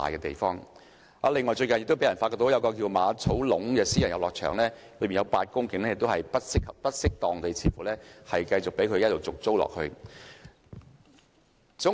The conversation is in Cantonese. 此外，最近有人發覺一個名為馬草壟的私人遊樂場，當中有8公頃用地似乎不適當地被人繼續續租。